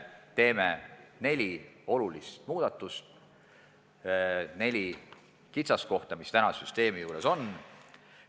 Me teeme neli olulist muudatust seoses nelja kitsaskohaga, mis täna süsteemis on.